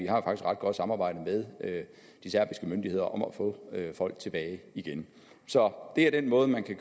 har et ret godt samarbejde med de serbiske myndigheder om at få folk tilbage igen så det er den måde man kan